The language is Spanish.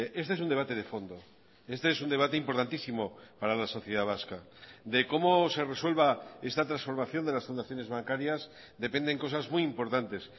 este es un debate de fondo este es un debate importantísimo para la sociedad vasca de cómo se resuelva esta transformación de las fundaciones bancarias dependen cosas muy importantes